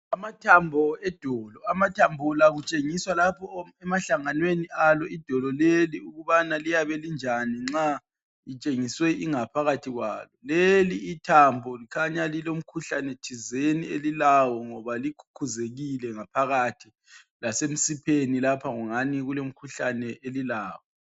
Amathambo edolo. Amathambo la kutshengiswa lapho emahlanganweni alo idolo leli ukubana liyabe linjani nxa litshengiswe ingaphakathi yalo. Leli thambo kukhanya lilomkhuhlane thizeni ngoba likhukhuzekile ngaphakathi, lasemsipheni lapha kukhanya kulomkhuhlane elilawo.